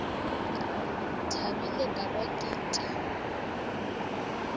thabile ka kwa ke itiwa